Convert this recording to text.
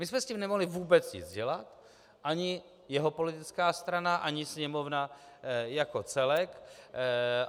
My jsme s tím nemohli vůbec nic dělat, ani jeho politická strana ani Sněmovna jako celek.